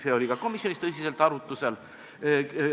See oli ka komisjonis tõsiselt arutlusel.